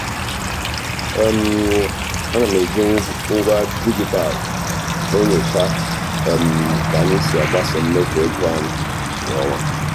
um ana m eji m eji ngwa dijitalụ enyocha um ka anyị si agbaso mmefu ego anyị kwa ọnwa.